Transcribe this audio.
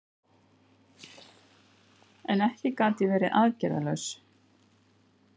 En ekki gat ég verið aðgerðalaus.